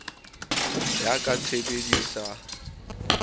ya ka tshebedisa no ya